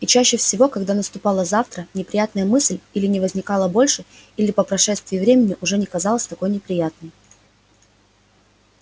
и чаще всего когда наступало завтра неприятная мысль или не возникала больше или по прошествии времени уже не казалась такой неприятной